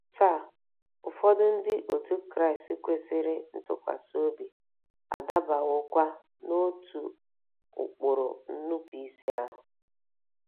Taa, ụfọdụ Ndị Otú Kristi kwesịrị ntụkwasị obi adabawokwa n'otu ụkpụrụ nnupụisi ahụ.